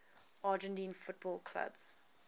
argentine football clubs